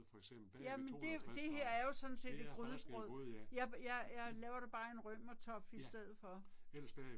Jamen det det her er jo sådan set et grydebrød. Jeg jeg jeg laver det bare i en römertopf i stedet for